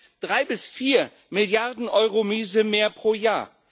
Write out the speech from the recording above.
Das heißt, drei bis vier Milliarden Euro Miese mehr pro Jahr.